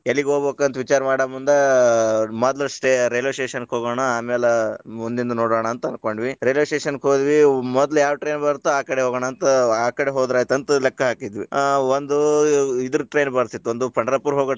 ಎಲ್ಲಿಗ ಹೋಗ್ಬೇಕ ಅಂತ ವಿಚಾರ ಮಾಡ ಮುಂದ ಮೊದ್ಲ railway station ಕ ಹೊಗೋಣ, ಆಮೇಲೆ ಮುಂದಿಂದ್ ನೋಡೊಣ ಅಂತ ಅನ್ಕೊಂಡ್ವಿ, railway station ಕ ಹೋದ್ವಿ ಮೊದ್ಲ ಯಾವ train ಬರತ್ತೋ ಆ train ಕಡೆ ಹೋಗೋಣ ಅಂತ ಆ ಕಡೆ ಹೋದ್ರ ಆಯ್ತ್ ಅಂತ ಲೆಕ್ಕಾ ಹಾಕಿದ್ವಿ, ಆ ಒಂದು ಇದರ್ train ಬರ್ತಿತ್ , ಒಂದು ಪಂಡರಾಪುರ ಹೋಗೊ.